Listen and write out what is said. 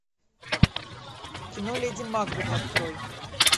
кино леди макбет открой